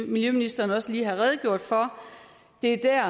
miljøministeren også lige har redegjort for det er